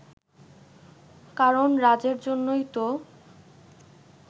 কারণ রাজের জন্যই তো